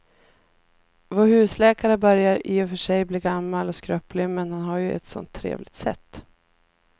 Vår husläkare börjar i och för sig bli gammal och skröplig, men han har ju ett sådant trevligt sätt!